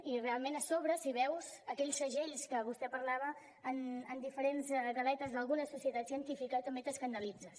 i realment a sobre si veus aquells segells de què vostè parlava en diferents galetes d’alguna societat científica també t’escandalitzes